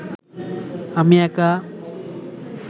আমি একা